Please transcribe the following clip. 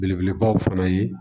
Belebelebaw fana ye